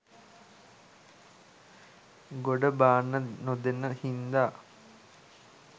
ගොඩ බාන්න නොදෙන හින්දා